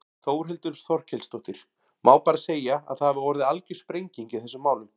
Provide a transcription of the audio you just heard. Þórhildur Þorkelsdóttir: Má bara segja að það hafi orðið algjör sprenging í þessum málum?